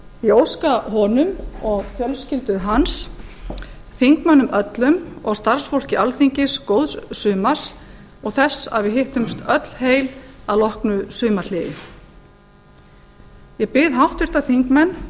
ég óska honum og fjölskyldu hans þingmönnum öllum og starfsfólki alþingis góðs sumars og þess að við hittumst öll heil að loknu sumarhléi ég bið háttvirta þingmenn